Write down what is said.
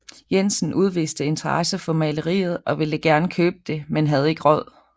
Jensen udviste interesse for maleriet og ville gerne købe det men havde ikke råd